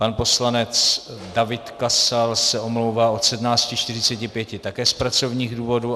Pan poslanec David Kasal se omlouvá od 17.45 také z pracovních důvodů.